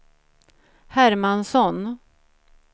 Hermansson